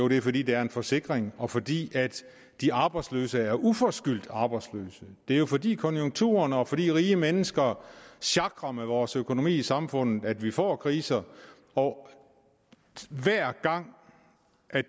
vi jo fordi det er en forsikring og fordi de arbejdsløse er uforskyldt arbejdsløse det er jo fordi konjunkturerne og fordi rige mennesker sjakrer med vores økonomi i samfundet at vi får kriser og hver gang